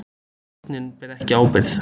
Stjórnin ber ekki ábyrgð